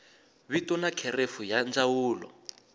vito na kherefu ya ndzawulo